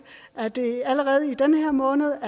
er det allerede i den her måned